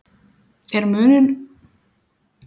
Er munur á umgjörðinni hjá þessum félögum?